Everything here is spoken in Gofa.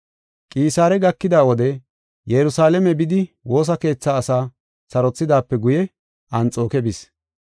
Qisaare gakida wode Yerusalaame bidi woosa keethaa asaa sarothidaape guye Anxooke bis.